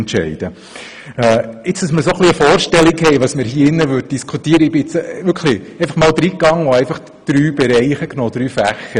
Damit wir eine Vorstellung davon erhalten, was wir denn hier beispielsweise diskutieren würden, habe ich einmal drei Fächer herausgegriffen.